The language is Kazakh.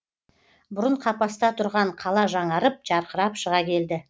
бұрын қапаста тұрған қала жаңарып жарқырап шыға келді